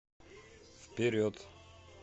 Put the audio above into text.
вперед